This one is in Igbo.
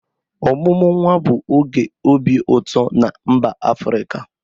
Ọmụmụ nwa bụ oge obi ụtọ na mba Afrịka.